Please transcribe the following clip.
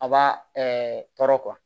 A b'a tɔɔrɔ